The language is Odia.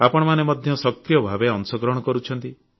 ଆପଣମାନେ ମଧ୍ୟ ସକ୍ରିୟ ଭାବେ ଅଂଶଗ୍ରହଣ କରୁଛନ୍ତି